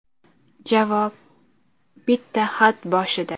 Javob bitta xatboshida.